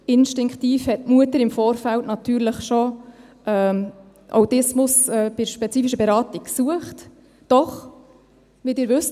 Instinktiv hat die Mutter im Vorfeld natürlich schon Autismus bei der spezifischen Beratung gesucht, doch, wie Sie wissen: